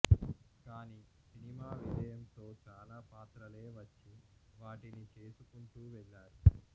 కానీ సినిమా విజయంతో చాలా పాత్రలే వచ్చి వాటిని చేసుకుంటూ వెళ్ళారు